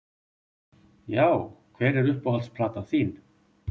já Hver er uppáhalds platan þín?